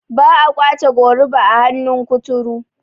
ba a kwace goruba a hannun kuturu